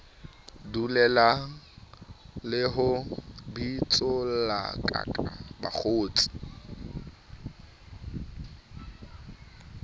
dulellana le ho bitsollakaka bakgotsi